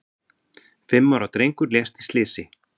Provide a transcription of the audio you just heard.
Fimm ára drengur lést í slysi